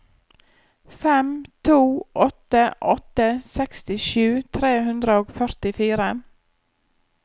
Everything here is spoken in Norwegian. fem to åtte åtte sekstisju tre hundre og førtifire